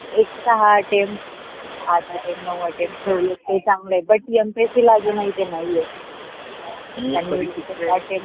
extra attempt आट attempt नव्व attempt ठेवलय ते चांगल आहे butmpsc जो नाही ते नाही ये.